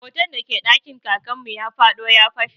Hoton da ke ɗakin Kakan mu ya fado ya fashe.